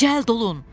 Cəld olun.